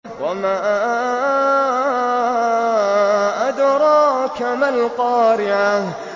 وَمَا أَدْرَاكَ مَا الْقَارِعَةُ